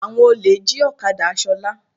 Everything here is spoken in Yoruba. Àwọn olè jí ọ̀kadá Ṣọlá.